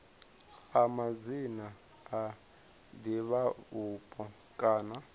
a madzina a divhavhupo kha